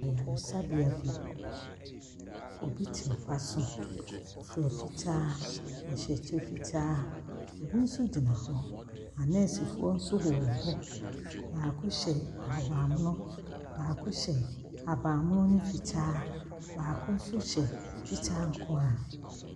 Ayaresabea bi, obi te mpa so fira fitaa. Ɔhyɛ kyɛ fitaa. Obi nso gyina hɔ. Anɛɛsefoɔ nso wɔn hɔ. Baako hyɛ ahabammono, baako hyɛ habammono ne fitaa. Baako nso hyɛ fitaa nko ara.